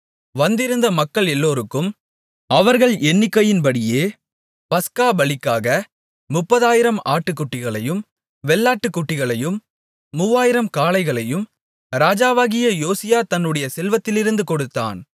வந்திருந்த மக்கள் எல்லோருக்கும் அவர்கள் எண்ணிக்கையின்படியே பஸ்கா பலிக்காக முப்பதாயிரம் ஆட்டுக்குட்டிகளையும் வெள்ளாட்டுக்குட்டிகளையும் மூவாயிரம் காளைகளையும் ராஜாவாகிய யோசியா தன்னுடைய செல்வத்திலிருந்து கொடுத்தான்